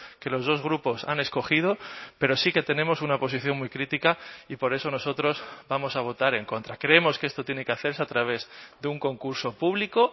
que los dos grupos han escogido pero sí que tenemos una posición muy crítica y por eso nosotros vamos a votar en contra creemos que esto tiene que hacerse a través de un concurso público